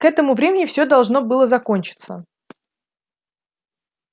к этому времени все должно было закончиться